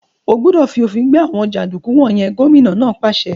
Ẹ́ gbúdọ̀ fi òfin gbé àwọn jàǹdùkú wọ̀n yẹn! Gómìnà náà pàṣẹ.